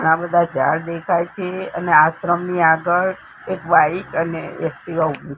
આ બધા ઝાડ દેખાય છે અને આશ્રમની આગળ એક વ્હાઇટ અને એક્ટિવા ઉભુ--